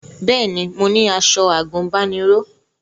Bẹ́ẹ̀ni mo ní aṣọ àgùnbánirọ̀